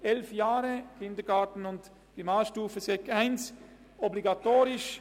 elf Jahre mit Kindergarten, Primarstufe und Sekundarstufe I, obligatorisch;